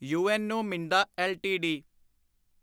UNO Minda LTD